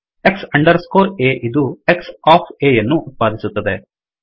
X under score A ಇದು X of A ಯನ್ನು ಉತ್ಪಾದಿಸುತ್ತದೆ